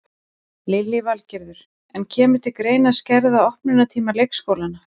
Lillý Valgerður: En kemur til greina að skerða opnunartíma leikskólana?